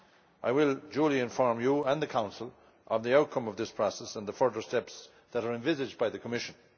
I will duly inform you and the Council of the outcome of this process and the further steps that are envisaged by the Commission.